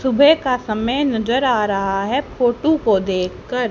सुबह का समय नजर आ रहा है फोटू को देख कर।